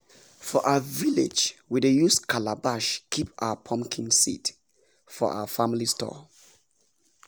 for our village we dey use calabash keep our pumpkin seed for our family store